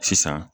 Sisan